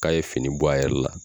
K'a ye fini bɔ a yɛrɛ la